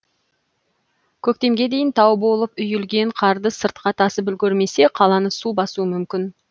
көктемге дейін тау болып үйілген қарды сыртқа тасып үлгермесе қаланы су басуы мүмкін